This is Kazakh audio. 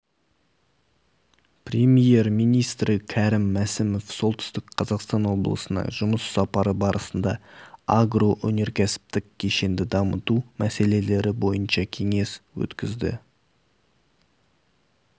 премьер-министрі кәрім мәсімов солтүстік қазақстан облысына жұмыс сапары барысында агроөнеркәсіптік кешенді дамыту мәселелері бойынша кеңес өткізді